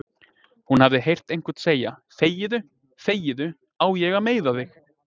Hún hafi heyrt einhvern segja: þegiðu, þegiðu, á ég að meiða þig?